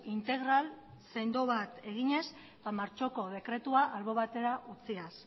integral sendo bat eginez ba martxoko dekretua albo batera utziaz